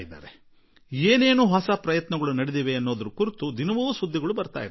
ಹೇಗೆ ಹೊಸ ಪ್ರಯತ್ನಗಳು ಆಗುತ್ತಿವೆ ಎಂದು ದಿನನಿತ್ಯವೂ ಸುದ್ದಿಗಳು ಬರುತ್ತವೆ